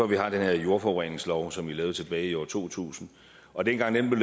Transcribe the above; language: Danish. vi har den her jordforureningslov som blev indført tilbage i år to tusind og dengang den